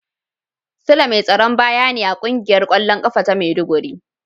Sule mai tsaron baya ne a kungiyar kwallon kafa ta maiduguri